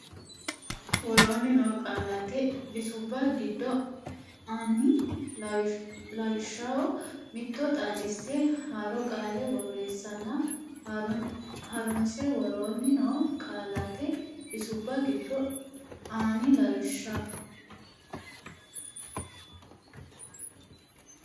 Woroonni noo qaallate bisubba giddo ani lawishshaho mitto xaadise haaro qaale borreessanna ha runse Woroonni noo qaallate bisubba giddo ani lawishshaho.